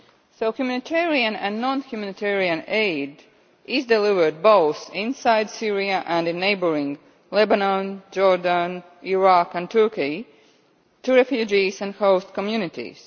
So humanitarian and non humanitarian aid is delivered both inside Syria and in neighbouring Lebanon, Jordan, Iraq and Turkey to refugees and host communities.